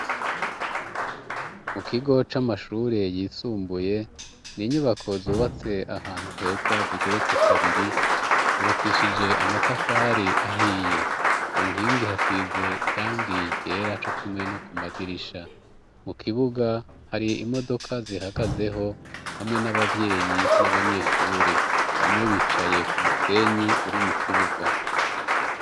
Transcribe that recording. Mu kigo c'amashure yisumbuye ni inyubako zubatse ahantu heza zigeretse kabiri zubakishije amatafari ahiye ku nkingi hasize irangiye ryera co kimwe no ku madirisha mu kibuga hari imodoka zihagazeho hamwe n'ababie yeyi n'abanyeshuri bamwe bicaye ku musenyi uri mu kibuga.